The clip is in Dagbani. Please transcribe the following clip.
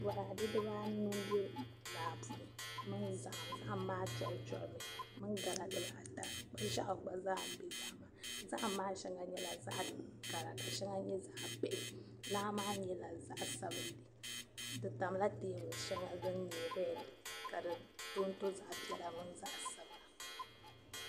Bɔraade dibaanu m-be laa puni mini zahim. Zahim maa duɣiduɣimi mini gala dibaata kpa' ʒiɛɣu gba zaa be zahim maa ni. Zahim maa shɛŋa nyɛla zaɣ' kara ka shɛŋa nyɛ zaɣ' bihi. Laa maa nyɛla zaɣ' sabilinli. Di tamla teebuli shɛŋa din nyɛ rɛdi ka si tonto zaɣ' piɛla mini zaɣ' sabila.